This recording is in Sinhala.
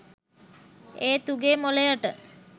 ඒත් උගේ මොළයට